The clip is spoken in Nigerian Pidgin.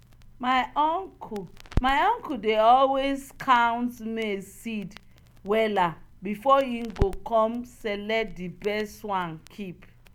village elder advise us say make we store seed wen di moon dey um dry.